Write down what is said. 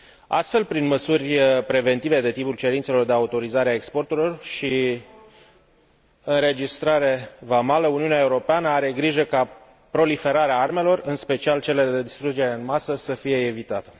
Astfel, prin măsuri preventive de tipul cerințelor de autorizare a exporturilor și înregistrare vamală, Uniunea Europeană are grijă ca proliferarea armelor, în special cele de distrugere în masă, să fie evitată.